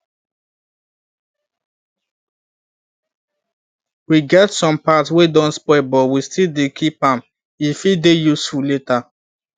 we get some part wey don spoil but we still dey keep am e fit dey useful later